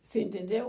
Você entendeu?